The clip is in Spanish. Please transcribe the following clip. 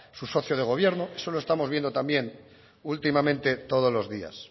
su socio de gobierno eso lo estamos viendo también últimamente todos los días